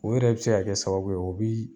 O yɛrɛ bɛ se ka kɛ sababu ye o bi